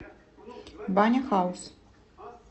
баня хаус